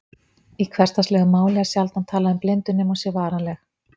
Í hversdagslegu máli er sjaldan talað um blindu nema hún sé varanleg.